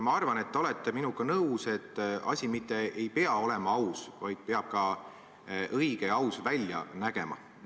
Ma arvan, et te olete minuga nõus, et asi mitte ei pea olema aus, vaid peab ka õige ja aus välja nägema.